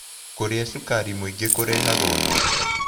Kũrĩa shũkarĩ mũĩngĩ kũrehaga ũnorũ